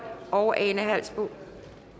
og ane halsboe